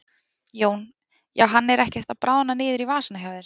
Jón: Já hann er ekkert að bráðna niður í vasana hjá þér?